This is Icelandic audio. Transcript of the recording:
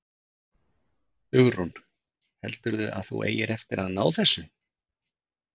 Hugrún: Heldurðu að þú eigir eftir að ná þessu?